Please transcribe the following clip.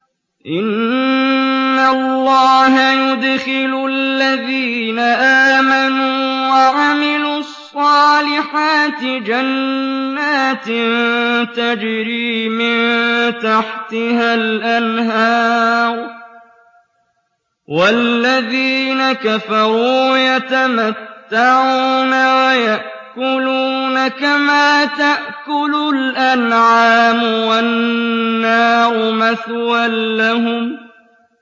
إِنَّ اللَّهَ يُدْخِلُ الَّذِينَ آمَنُوا وَعَمِلُوا الصَّالِحَاتِ جَنَّاتٍ تَجْرِي مِن تَحْتِهَا الْأَنْهَارُ ۖ وَالَّذِينَ كَفَرُوا يَتَمَتَّعُونَ وَيَأْكُلُونَ كَمَا تَأْكُلُ الْأَنْعَامُ وَالنَّارُ مَثْوًى لَّهُمْ